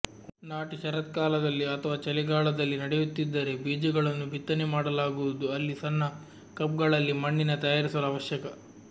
ನಾಟಿ ಶರತ್ಕಾಲದಲ್ಲಿ ಅಥವಾ ಚಳಿಗಾಲದಲ್ಲಿ ನಡೆಯುತ್ತಿದ್ದರೆ ಬೀಜಗಳನ್ನು ಬಿತ್ತನೆ ಮಾಡಲಾಗುವುದು ಅಲ್ಲಿ ಸಣ್ಣ ಕಪ್ಗಳಲ್ಲಿ ಮಣ್ಣಿನ ತಯಾರಿಸಲು ಅವಶ್ಯಕ